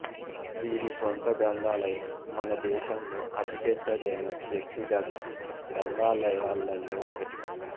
వీరి స్వంత గ్రంథాలయం మన దేశంలో అతి పెద్దదైన వ్యక్తిగత గ్రంథాలయాలలో ఒకటి